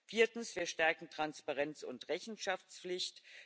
Viertens Wir stärken Transparenz und Rechenschaftspflicht.